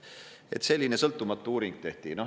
Vaat selline sõltumatu uuring tehti.